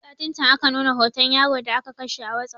Satin can aka nuna hoton yaro da aka kashe a wasup